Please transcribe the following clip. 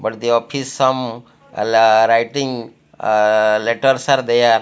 but the office some laa writing ahh letters are there.